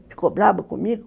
Ficou bravo comigo